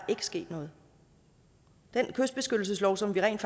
sket noget den kystbeskyttelseslov som vi rent